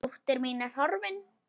Dóttir mín er horfin.